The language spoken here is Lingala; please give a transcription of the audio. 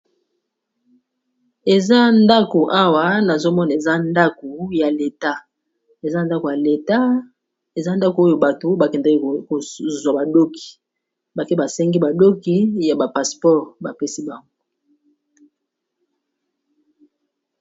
Eza ndako awa na zomona eza ndako ya leta eza ndako ya leta, eza ndako oyo bato bakendeka kozwa badoki bake basengi badoki ya bapasseport bapesi bango